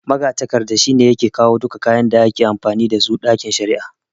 Magatakarda shi yake kawo duka kayan da ake amfani dasu a ɗakin shari'a